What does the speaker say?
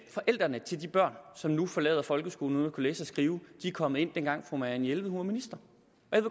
forældrene til de børn som nu forlader folkeskolen uden at kunne læse og skrive er kommet ind dengang fru marianne jelved var minister